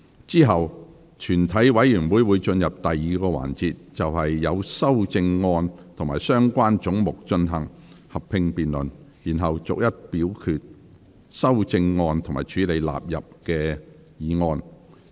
之後全體委員會會進入第2個環節，就所有修正案及相關總目進行合併辯論，然後逐一表決修正案及處理納入議案。